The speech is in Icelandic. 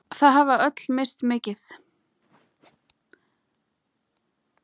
Þau hafa öll misst mikið.